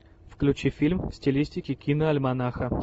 включи фильм в стилистике киноальманаха